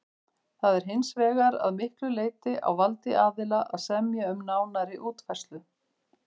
Það er hins vegar að miklu leyti á valdi aðila að semja um nánari útfærslu.